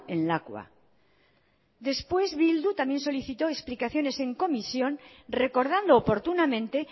en lakua después bildu también solicitó explicaciones en comisión recordando oportunamente